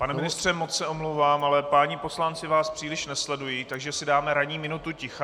Pane ministře, moc se omlouvám, ale páni poslanci vás příliš nesledují, takže si dáme ranní minutu ticha.